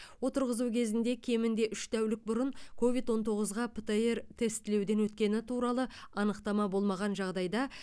отырғызу кезінде кемінде үш тәулік бұрын ковид он тоғызға птр тестілеуден өткені туралы анықтама болмаған жағдайда